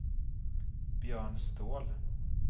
Björn Ståhl